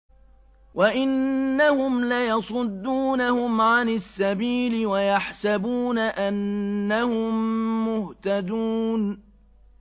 وَإِنَّهُمْ لَيَصُدُّونَهُمْ عَنِ السَّبِيلِ وَيَحْسَبُونَ أَنَّهُم مُّهْتَدُونَ